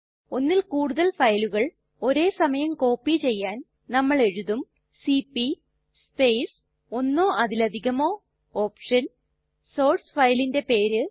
ഒന്നിൽ കൂടുതൽ ഫയലുകൾ ഒരേ സമയം കോപ്പി ചെയ്യാൻ നമ്മൾ എഴുതും സിപി സ്പേസ് ഒന്നോ അതിലധികമോ OPTIONസോർസ് ഫയലിന്റെ പേര്